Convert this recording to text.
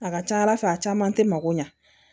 A ka ca ala fɛ a caman tɛ mako ɲa